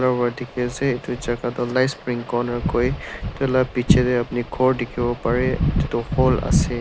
aru dekhi ase etu jaka toh life spring conner koi etu laga pichey tey upni ghor dekhivo parey etu toh hall ase.